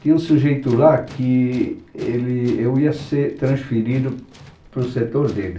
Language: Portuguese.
Tinha um sujeito lá que ele, eu ia ser transferido para o setor dele.